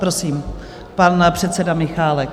Prosím, pan předseda Michálek.